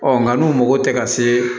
Ɔ nka n'u mago tɛ ka se